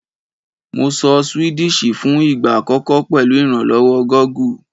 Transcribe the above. Mo sọ Swedish fún ìgbà àkọ́kọ́ pèlu ìrànlówó Google